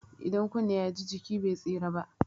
Idan kunne ya ji, jiki be tsira ba?